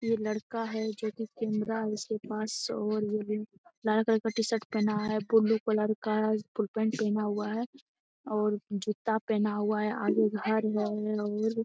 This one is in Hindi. यह लड़का है जो की कैमरा इसके पास लाल कलर का शर्ट पहना हुआ है ब्लू कलर का फुल पैंट पहना हुआ है और जूता पहना हुआ है और आगे घर है --